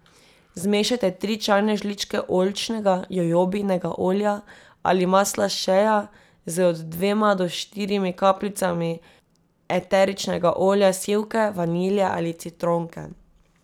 Zmešajte tri čajne žličke oljčnega, jojobinega olja ali masla shea z od dvema do štirimi kapljicami eteričnega olja sivke, vanilje ali citronke.